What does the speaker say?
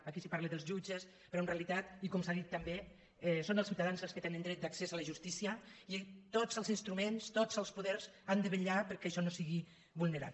aquí se parla dels jut·ges però en realitat i com s’ha dit també són els ciu·tadans els que tenen dret d’accés a la justícia i tots els instruments tots els poders han de vetllar perquè això no sigui vulnerat